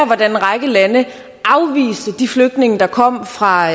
hvordan en række lande afviste de flygtninge der kom fra